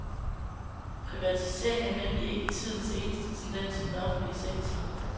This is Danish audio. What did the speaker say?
Privatisering er nemlig ikke tidens eneste tendens i den offentlige sektor.